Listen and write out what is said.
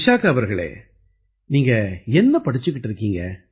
விசாகா அவர்களே நீங்க என்ன படிச்சுக்கிட்டு இருக்கீங்க